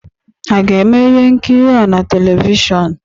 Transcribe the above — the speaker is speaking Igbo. A ga-eme ihe nkiri a na televishọn?